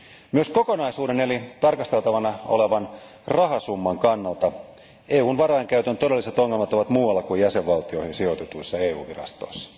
Myös kokonaisuuden eli tarkasteltavana olevan rahasumman kannalta EUn varainkäytön todelliset ongelmat ovat muualla kuin jäsenvaltioihin sijoitetuissa EU virastoissa.